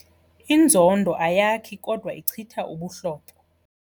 Inzondo ayakhi kodwa ichitha ubuhlobo.